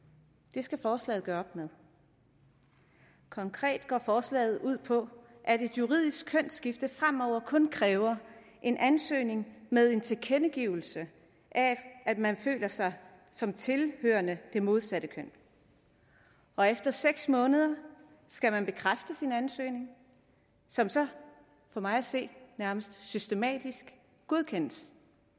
det skal forslaget gøre op med konkret går forslaget ud på at et juridisk kønsskifte fremover kun kræver en ansøgning med en tilkendegivelse af at man føler sig som tilhørende det modsatte køn og efter seks måneder skal man bekræfte sin ansøgning som så for mig at se systematisk godkendes